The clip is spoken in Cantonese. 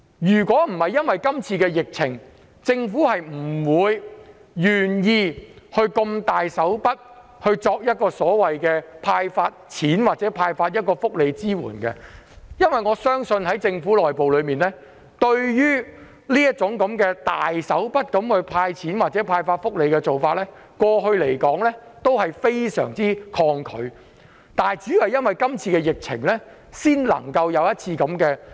如果不是出現疫情，政府今次是不會願意如此闊綽"派錢"或作出福利支援的，因為我相信政府內部對於這種闊綽的"派錢"措施或福利政策非常抗拒，主要因為今次的疫情才會這樣做。